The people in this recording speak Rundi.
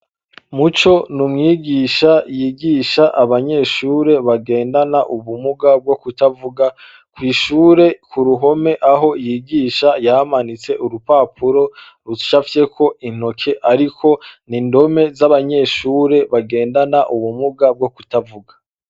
Muco ni umwigisha yigisha abanyeshure bagendana ubumuga bwo kutavuga kw'ishure ku ruhome aho yigisha yamanitse urupapuro ruca fyeko intoke, ariko ni indome z'abanyeshure bagendana ubumuga bwo kutavuga.